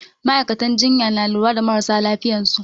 Ma'aikatan jinya na lura da marasa lafiyansu